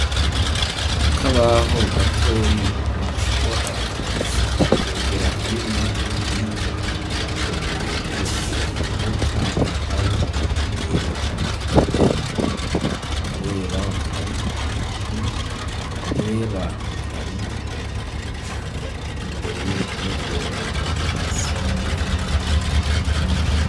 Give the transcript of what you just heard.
Akabaho gatoyi, umuntu ashobora kwegera hino no hirya, kugira ngo yegereze uwo canke abo yereka ivyo bintu; karera kari ahantu hera, kari imbere y'uruhome rwera ariko hasi harirabura.